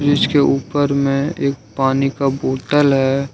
इसके ऊपर में एक पानी का बोतल है।